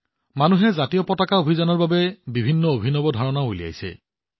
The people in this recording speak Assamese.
মানুহে ত্ৰিৰংগা অভিযানৰ বাবে বিভিন্ন অভিনৱ ধাৰণাও উলিয়াইছিল